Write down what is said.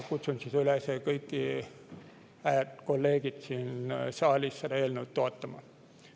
Kutsun kõiki kolleege siin saalis üles seda eelnõu toetama.